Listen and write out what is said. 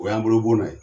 O y'an bolo bɔnna ye